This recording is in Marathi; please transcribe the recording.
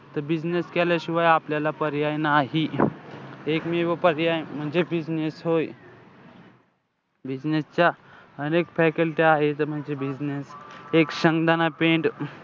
त business केल्याशिवाय आपल्याला पर्याय नाही. एकमेव पर्याय म्हणजे business होय. business च्या अनेक faculty आहे म्हणजे business एक शेंगदाणा